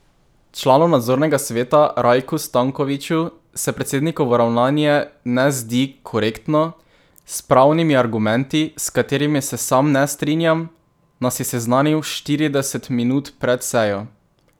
Članu nadzornega sveta Rajku Stankoviću se predsednikovo ravnanje ne zdi korektno: 'S pravnimi argumenti, s katerimi se sam ne strinjam, nas je seznanil štirideset minut pred sejo.